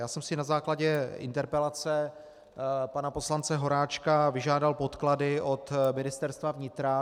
Já jsem si na základě interpelace pana poslance Horáčka vyžádal podklady od Ministerstva vnitra.